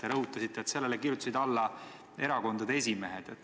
Te rõhutasite, et sellele kirjutasid alla erakondade esimehed.